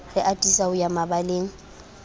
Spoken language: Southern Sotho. re atisa ho ya mabaleng